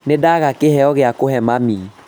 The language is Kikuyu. Nĩndaga kĩheo gĩa kũhe mami